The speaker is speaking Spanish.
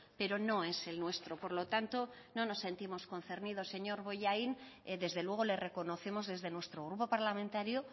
pero no es el nuestro por lo tanto no nos sentimos concernidos señor bollain desde luego le reconocemos desde nuestro grupo parlamentario